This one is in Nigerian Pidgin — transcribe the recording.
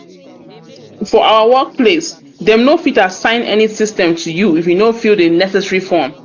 for our workplace dem no fit asssign any system to you if you no fill the necessary form